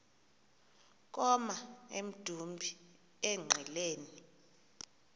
koma emdumbi engqeleni